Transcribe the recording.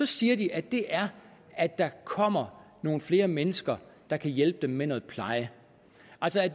siger de at det er at der kommer nogle flere mennesker der kan hjælpe dem med noget pleje